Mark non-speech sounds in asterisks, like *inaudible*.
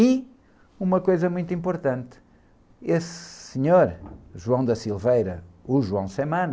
E uma coisa muito importante, esse senhor, *unintelligible* o João, *unintelligible*